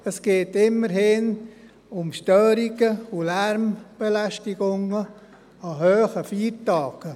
Es geht immerhin um Störungen und Lärmbelästigungen an hohen Feiertagen.